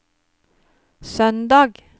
søndag